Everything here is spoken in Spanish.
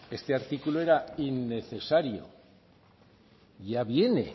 este artículo era innecesario